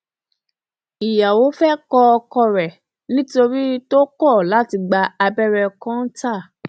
ìyàwó fẹẹ kọ ọkọ ẹ nítorí tó kọ láti gba abẹrẹ kọńtà